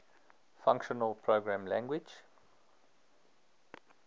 functional programming language